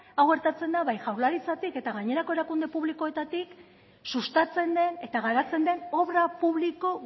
hau gertatzen da bai jaurlaritzatik eta gainerako erakunde publikoetatik sustatzen den eta garatzen den obra publiko